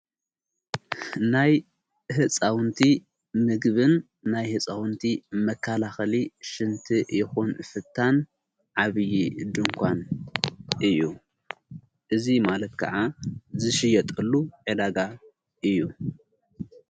ናይ ሕፃውንቲ ምግብን ናይ ሕፃውንቲ መካላኸሊ ሽንቲ የኾን ፍታን ዓብዪ ድንኳን እዩ እዙይ ማለት ከዓ ዝሽየጠሉ ዕዳጋ እዩ።